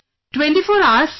24 Hours Sir